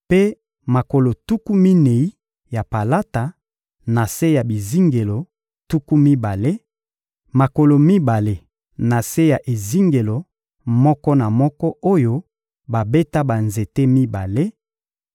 mpe makolo tuku minei ya palata, na se ya bizingelo tuku mibale: makolo mibale na se ya ezingelo moko na moko oyo babeta banzete mibale;